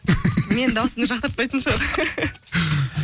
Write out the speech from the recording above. менің дауысымды жақтыртпайтын шығар